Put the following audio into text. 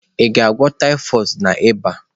Ị ga-agwọ typhoid na ịba?